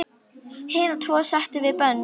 Hina tvo settum við í bönd.